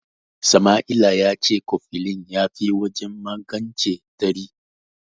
Sama'ila ya ce kofilin ya fi wajen magance tari.